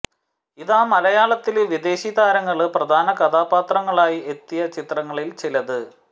ഇതാ മലയാളത്തില് വിദേശി താരങ്ങള് പ്രധാന കഥാപാത്രങ്ങളായി എത്തിയ ചിത്രങ്ങളില് ചിലത്